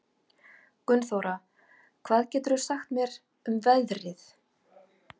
Gunnþóra, hvað geturðu sagt mér um veðrið?